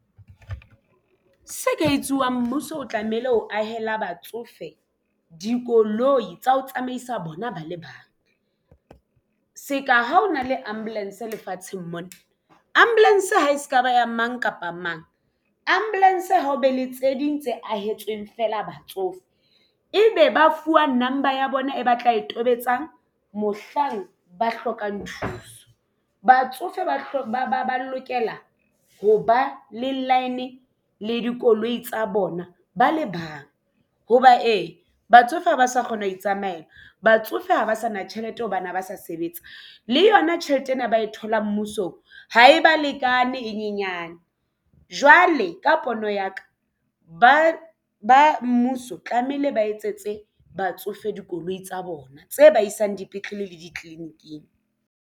Se ka etsuwang mmuso o tlamehile ho ahela batsofe dikoloi tsa ho tsamaisa bona bale bang se ka ha o na le ambulance lefatsheng mona ambulance ha e se ka ba ya mang kapa mang ambulance ha o be le tse ding tse ahe etsweng feela batsofe ebe ba fuwa number ya bona e batla e tobetsang mohlang ba hlokang thuso batsofe ba lokela ho ba le line le dikoloi tsa bona ba le bang hoba ee batsofe ha ba sa kgona ho itsamaela batsofe ha ba sa na tjhelete ho bana ba sa sebetsa le yona tjhelete leeto ena ba e tholang mmuso ha e ba lekane e nyenyane jwale ka pono ya ka ba mmuso tlameile ba etsetswe batsofe dikoloi tsa bona tse ba isang dipetlele le ditleliniking.